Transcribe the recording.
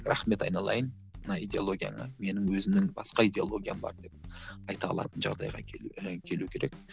рахмет айналайын мына идеологияңа менің өзімнің басқа идеологиям бар деп айта алатын жағдайға келу і келу керек